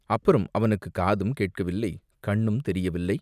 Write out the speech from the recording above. அப்புறம் அவனுக்குக் காதும் கேட்கவில்லை, கண்ணும் தெரியவில்லை!